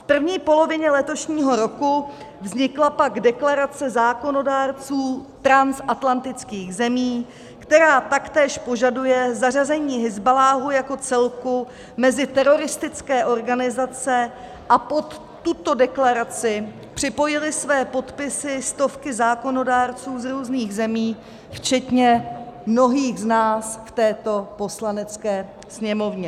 V první polovině letošního roku vznikla pak deklarace zákonodárců transatlantických zemí, která taktéž požaduje zařazení Hizballáhu jako celku mezi teroristické organizace, a pod tuto deklaraci připojily své podpisy stovky zákonodárců z různých zemí včetně mnohých z nás v této Poslanecké sněmovně.